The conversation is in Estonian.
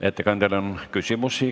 Ettekandjale on küsimusi.